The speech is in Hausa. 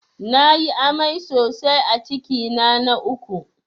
Na yi amai sosai a cikina na uku